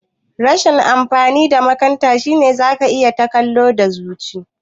Rashin amfanin makanta shine zaka ta kallo da zuci